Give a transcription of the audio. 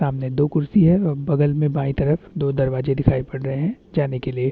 सामने दो खुर्सी है और बगल मे बाई तरफ दो दरवाजे दिखाई पड़ रहे है जाने के लिए --